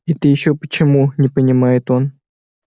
это ещё почему не понимает он